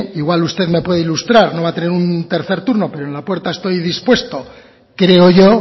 igual usted no puede ilustrar no va a tener un tercer turno pero en la puerta estoy dispuesto creo yo